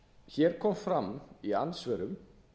hér kom fram í andsvörum